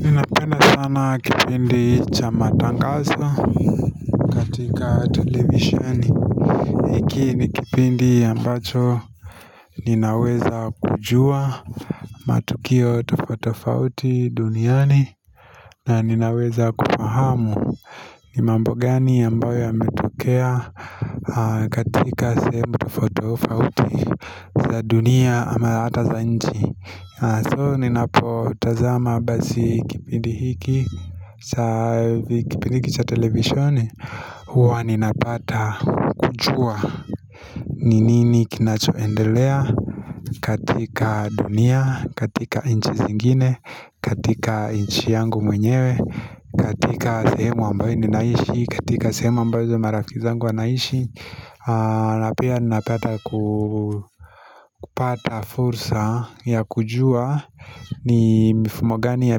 Ninapenda sana kipindi cha matangaso Tika televisisheni hiki ni kipindi ambacho Ninaweza kujua matukio tofauti tofauti duniani na ninaweza kufahamu ni mambo gani ambayo yametokea katika sehemu tofautitofauti za dunia ama ata za nji So ninapotazama basi kipindi hiki saa kipindi cha televisheni huwa ninapata kujua ni nini kinachoendelea katika dunia, katika inchi zingine katika inchi yangu mwenyewe katika sehemu ambayo ninaishi katika sehemu ambazo marafiki zangu wanaishi na pia ninapata kupata fursa ya kujua ni mifumo gani ya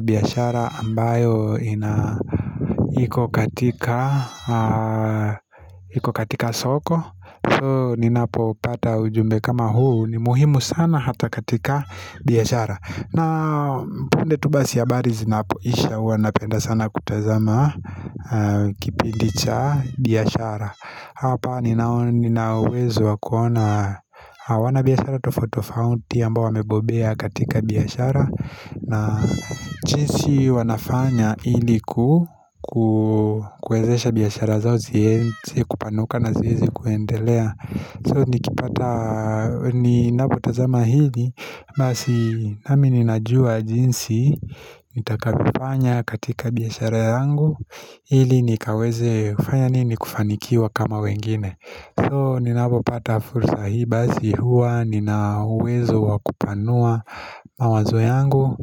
biashara ambayo iko katika soko soo ninapopata ujumbe kama huu ni muhimu sana hata katika biashara na punde tu basi habari zinapoisha huwa napenda sana kutazama kipindi cha biashara hapa nina uwezo wa kuona wana biashara tofauti tofauti ambao wamebobea katika biashara na jinsi wanafanya ili kuezesha biashara zao ziezi kupanuka na zieze kuendelea So nikipata ninapotazama hili Basi nami ninajua jinsi nitakavyofanya katika biashara yangu Hili nikaweze kufanya nini kufanikiwa kama wengine So ninapopata fursa hii basi hua nina uwezo wa kupanua mawazo yangu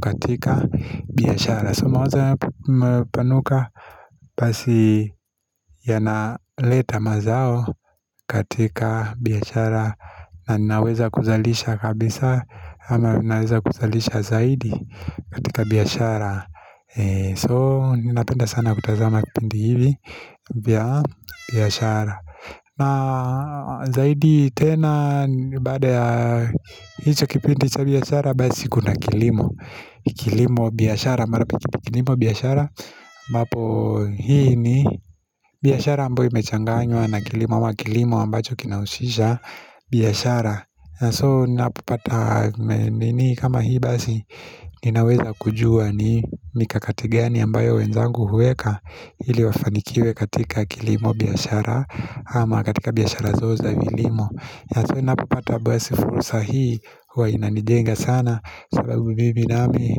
katika biashara So mawazo yanapopanuka basi yanaleta mazao katika biashara na ninaweza kuzalisha kabisa ama ninaweza kuzalisha zaidi katika biashara So ninapenda sana kutazama kipindi hivi vya biashara na zaidi tena baada ya hicho kipindi cha biashara basi kuna kilimo biashara, mara pia kilimo biashara ambapo hii ni biashara ambayo imechanganywa na kilimo ama kilimo ambacho kinaushisha biashara So ninapopata nini kama hii basi Ninaweza kujua ni mikakati gani ambayo wenzangu huweka Hili wafanikiwe katika kilimo biashara ama katika biashara zao za kilimo ninapopata basi fursa hii huwa inanijenga sana sababu bibi nami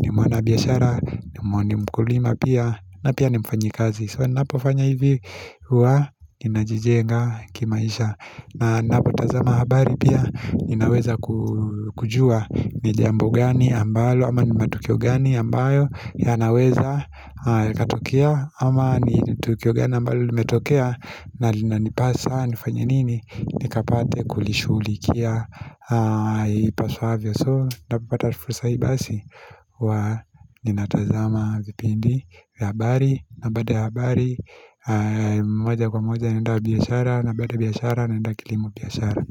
ni mwana biashara ni mkulima pia na pia ni mfanyikazi So ninapofanya hivi huwa ninajijenga kimaisha na ninapo tazama habari pia Ninaweza kujua ni jambo gani ambalo ama ni matukio gani ambayo yanaweza itatokea ama ni tukio gani ambalo limetokea na linanipaa sana nifanye nini Nikapate kulishugilikia ipasuavyo so ninapopata fursa hii basi huwa ninatazama vipindi vya habari na baada ya habari moja kwa moja naenda biashara na baada ya biashara naenda kilimo biashara.